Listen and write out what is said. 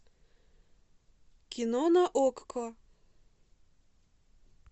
кино на окко